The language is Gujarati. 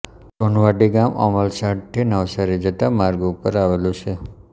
સોનવાડી ગામ અમલસાડથી નવસારી જતા માર્ગ ઉપર આવેલું છે